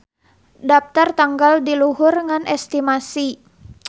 Daptar tanggal di luhur ngan estimasi.